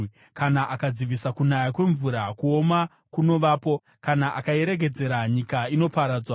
Kana akadzivisa kunaya kwemvura, kuoma kunovapo; kana akairegedzera, nyika inoparadzwa.